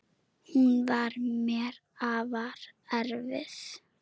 Hún var mér afar erfið.